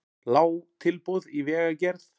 Lág tilboð í vegagerð